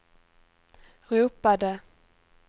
ropade